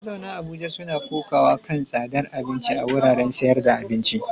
Mazauna Abuja suna kokawa kan tsadar abinci a wuraren sayar da abinci.